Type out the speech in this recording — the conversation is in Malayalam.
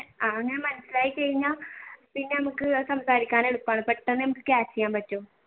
അങ്ങനെ മനസിലായി കഴിഞ്ഞ പിന്നെ നമ്മുക്ക് സംസാരിക്കാൻ എളുപ്പമാണ് പെട്ടെന്ന് നമുക്ക് catch ചെയ്യാൻ പറ്റും